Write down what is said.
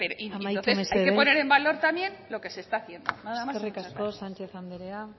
y entonces hay que poner en valor también lo que se está haciendo eskerrik asko sánchez anderea